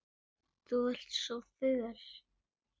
Þú ert svo föl.